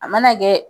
A mana kɛ